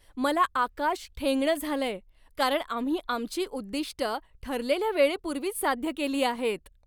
मला आकाश ठेंगणं झालंय, कारण आम्ही आमची उद्दिष्टं ठरलेल्या वेळेपूर्वीच साध्य केली आहेत!